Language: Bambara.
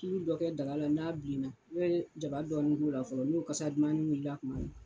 Tulu dɔ kɛ daga la n'a bilenna i bɛ jaba dɔɔni kɛ o la fɔlɔ n'o kasa dumannin wulila kuma min na.